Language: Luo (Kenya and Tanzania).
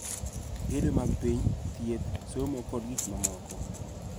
Gedo mag piny, thieth, somo, kod gik mamoko